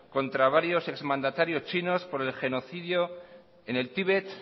contra varios ex mandatarios chinos por el genocidio en el tíbet